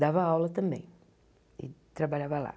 Dava aula também e trabalhava lá.